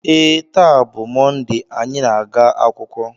ee, taa bụ Mọnde anyị na-aga akwụkwọ